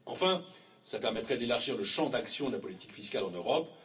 Enfin, cela permettrait d'élargir le champ d'action de la politique fiscale en Europe.